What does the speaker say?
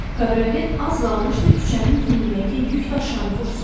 Kabriolet az qalmışdı küçənin tinindəki yük daşıyanı vursun.